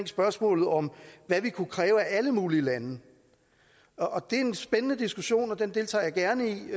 spørgsmålet om hvad vi kunne kræve af alle mulige lande det er en spændende diskussion og den deltager jeg gerne i